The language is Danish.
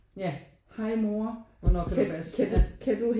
Ja hvornår kan du passe ja